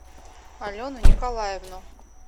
алену николаевну